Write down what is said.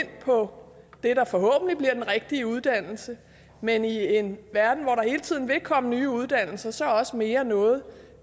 på det der forhåbentlig bliver den rigtige uddannelse men i en verden hvor der hele tiden vil komme nye uddannelser så også mere noget